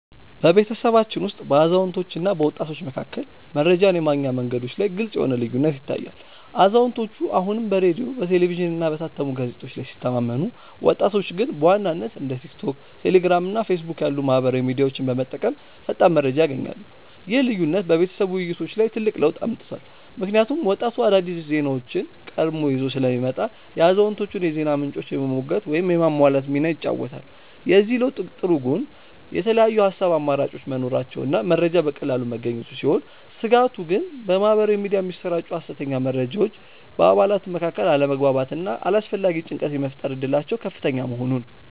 በቤተሰባችን ውስጥ በአዛውንቶችና በወጣቶች መካከል መረጃን የማግኛ መንገዶች ላይ ግልጽ የሆነ ልዩነት ይታያል፤ አዛውንቶቹ አሁንም በሬዲዮ፣ በቴሌቪዥንና በታተሙ ጋዜጦች ላይ ሲተማመኑ፣ ወጣቶቹ ግን በዋናነት እንደ ቲክቶክ፣ ቴሌግራም እና ፌስቡክ ያሉ ማኅበራዊ ሚዲያዎችን በመጠቀም ፈጣን መረጃ ያገኛሉ። ይህ ልዩነት በቤተሰብ ውይይቶች ላይ ትልቅ ለውጥ አምጥቷል፤ ምክንያቱም ወጣቱ አዳዲስ ዜናዎችን ቀድሞ ይዞ ስለሚመጣ የአዛውንቶቹን የዜና ምንጮች የመሞገት ወይም የማሟላት ሚና ይጫወታል። የዚህ ለውጥ ጥሩ ጎን የተለያዩ የሐሳብ አማራጮች መኖራቸውና መረጃ በቀላሉ መገኘቱ ሲሆን፣ ስጋቱ ግን በማኅበራዊ ሚዲያ የሚሰራጩ የሐሰተኛ መረጃዎች በአባላቱ መካከል አለመግባባትና አላስፈላጊ ጭንቀት የመፍጠር እድላቸው ከፍተኛ መሆኑ ነው።